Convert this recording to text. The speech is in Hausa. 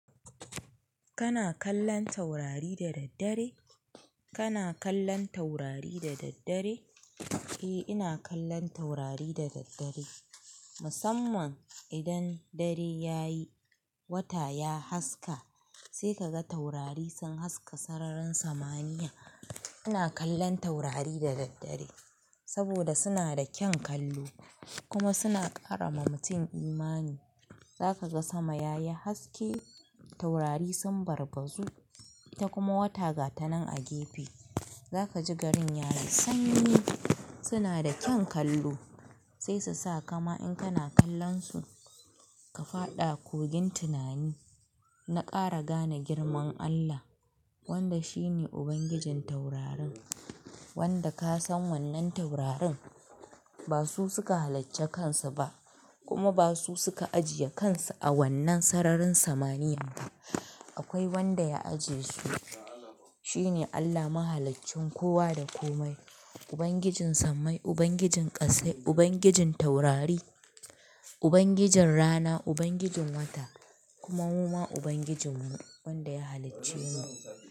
Kana kallon taurari da daddare? Kana kallon taurari da daddare? Eh, ina kallon taurari da daddare. Musamman idan dare ya yi, wata ya haske sai ka ga taurari sun haska sararin samaniya. Ina kallon taurari da daddare saboda suna da kyan kallo kuma suna ƙara ma mutum imani. Zaka ga sama yayi haske, taurari sun barbazu ta kuma wata gata nan a gefe. Zaka ji garin yayi sanyi. Suna da kyan kallo sai su sa kama in kana kallon su ka faɗa kogin tunani na ƙara gane girman Allah wanda shi ne ubangijin taurarin. Wanda ka san wannan taurarin ba su suka halacci kansu ba kuma ba su suka ajiye kansu a wannan sararin samaniyar ba. Akwai wanda ya ajiye su, shi ne Allah Mahaliccin kowa da komai, ubangijin sammai, ubangijin ƙassai, ubangijin taurari, ubangijin rana, ubangijin wata kuma muma ubangijinmu wanda ya halicce mu.